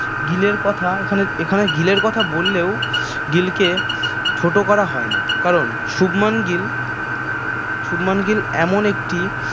গিলের কথা এখানে গিলের কথা বললেও গিলকে ছোট করা হয় না কারন শুভমান গিল শুভমান গিল এমন একটি